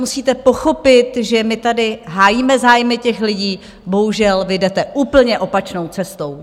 Musíte pochopit, že my tady hájíme zájmy těch lidí, bohužel vy jdete úplně opačnou cestou!